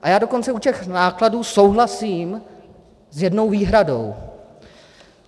A já dokonce u těch nákladů souhlasím s jednou výhradou.